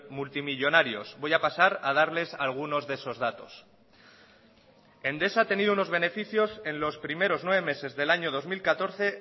multimillónarios voy a pasar a darles algunos de esos datos endesa ha tenido unos beneficios en los primeros nueve meses del año dos mil catorce